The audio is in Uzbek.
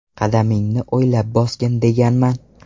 Qadamingni o‘ylab bosgin deganman.